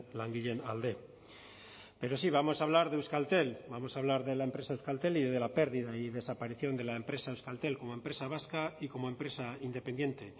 langileen alde pero sí vamos a hablar de euskaltel vamos a hablar de la empresa euskaltel y de la pérdida y desaparición de la empresa euskaltel como empresa vasca y como empresa independiente